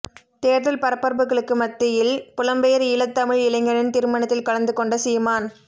தேர்தல் பரபரப்புகளுக்கு மத்தியில் புலம்பெயர் ஈழத்தமிழ் இளைஞனின் திருமணத்தில் கலந்துகொண்ட சீமான்